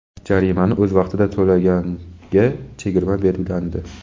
Jarimani o‘z vaqtida to‘laganga chegirma belgilandi.